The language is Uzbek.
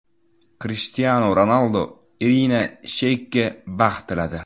Krishtianu Ronaldu Irina Sheykga baxt tiladi.